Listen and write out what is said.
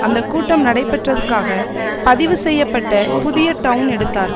அந்த கூட்டம் நடைபெற்றது க்காக பதிவு செய்ய பட்ட புதிய டவுன் தடுத்தார்கள்